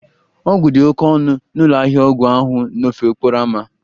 Ọgwụ dị oke ọnụ n'ụlọ ahịa ọgwụ ahụ n'ofe okporo ámá